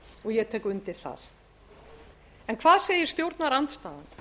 og ég tek undir það en hvað segir stjórnarandstaðan